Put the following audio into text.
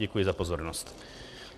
Děkuji za pozornost.